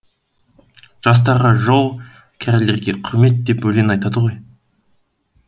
жастарға жол кәрілерге құрмет деп өлең айтады ғой